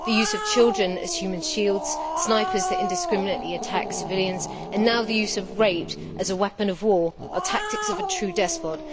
The use of children as human shields, snipers that indiscriminately attack civilians and now the use of rape as a weapon of war are tactics of a true despot.